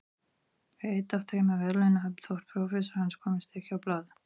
Er einn af þremur verðlaunahöfum þótt prófessorar hans komist ekki á blað.